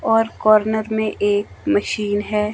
और कॉर्नर में एक मशीन है।